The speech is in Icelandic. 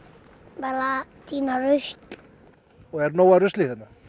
bara að tína rusl og er nóg af rusli